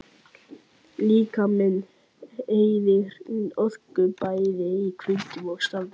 Líkaminn eyðir orku, bæði í hvíld og starfi.